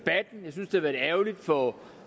har været ærgerligt for